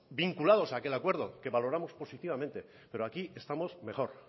vinculados a aquel acuerdo que valoramos positivamente pero aquí estamos mejor